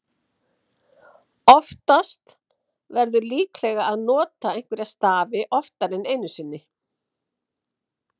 oftast verður líklega að nota einhverja stafi oftar en einu sinni